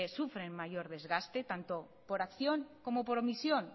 sufren mayor desgaste tanto por acción como por omisión